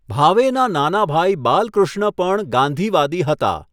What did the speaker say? ભાવેના નાના ભાઈ બાલકૃષ્ણ પણ ગાંધીવાદી હતા.